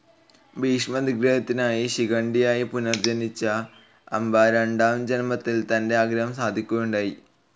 ഭീഷ്മ നിഗ്രഹത്തിനായി ശിഖണ്ഡിയായി പുനർജ്ജനിച്ച അംബ രണ്ടാം ജന്മത്തിൽ തന്റെ ആഗ്രഹം സാധിക്കുകയുണ്ടായി